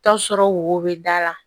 Taa sɔrɔ wo bɛ da la